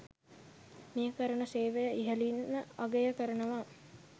මේ කරන සේවය ඉහලින්ම අගය කරනවා.